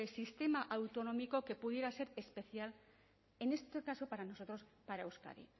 sistema autonómico que pudiera ser especial en este caso para nosotros para euskadi